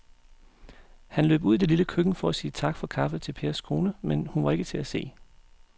Han løb ud i det lille køkken for at sige tak for kaffe til Pers kone, men hun var ikke til at se.